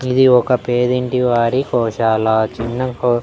ఇది ఒక పేదింటి వాడి కోశాల చిన్న కో--